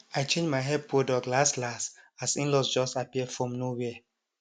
i change my hair product last last as inlaws just appear from nowhere